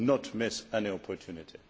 I will not miss any opportunity.